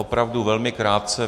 Opravdu velmi krátce.